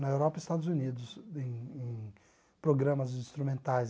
na Europa e Estados Unidos, em no programas instrumentais.